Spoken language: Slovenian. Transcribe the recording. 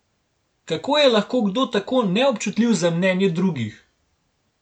Kako je lahko kdo tako neobčutljiv za mnenje drugih?